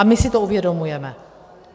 A my si to uvědomujeme.